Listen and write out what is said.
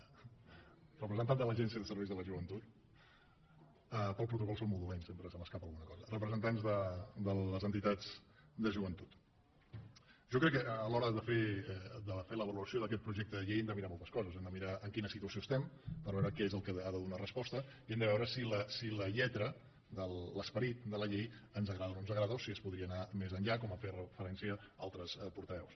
representant de l’agència de serveis de la joventut per al protocol sóc molt dolent sempre se m’escapa alguna cosa representants de les entitats de joventut jo crec que a l’hora de fer la valoració d’aquest projecte de llei hem de mirar moltes coses hem de mirar en quina situació estem per veure a què ha de donar resposta i hem de veure si la lletra l’esperit de la llei ens agrada o no ens agrada o si es podria anar més enllà com han fet referència altres portaveus